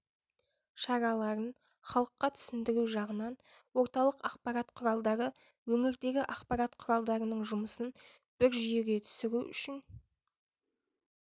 шараларын халыққа түсіндіру жағынан орталық ақпарат құралдары өңірдегі ақпарат құралдарының жұмысын бір жүйеге түсіру үшін